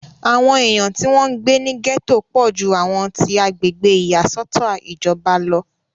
àwọn èèyàn tí wọ́n ń gbé ní gẹ̀tò pọ̀ ju àwọn ti agbègbè ìyàsọ́tọ̀ ìjọba lọ